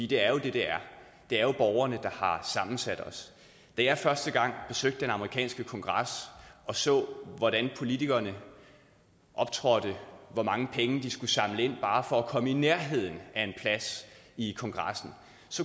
det er jo det det er det er borgerne der har sammensat os da jeg første gang besøgte den amerikanske kongres og så hvordan politikerne optrådte og hvor mange penge de skulle samle ind bare for at komme i nærheden af en plads i kongressen